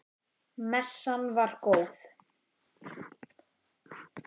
Messan var góð.